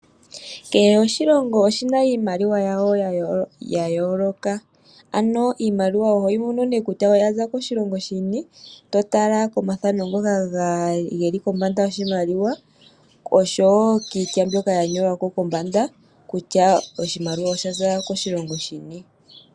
Kehe oshilongo oshina iimaliwa yawo yayooloka ano iimaliwa oho yimono nee kutya oyaza koshilongo shini totala komathano ngoka geli kombanda yoshimaliwa osho woo kiitya mbyoka yanyolwako kombanda kutya oshimaliwa oshaza koshilongo shini.